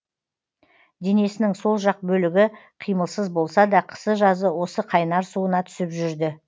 денесінің сол жақ бөлігі қимылсыз болса да қысы жазы осы қайнар суына түсіп жүрді